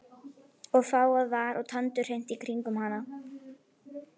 Og fágað var og tandurhreint í kringum hana.